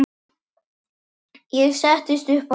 Ég settist upp á hjólið.